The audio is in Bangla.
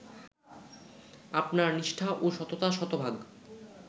আপনার নিষ্ঠা ও সততা শতভাগ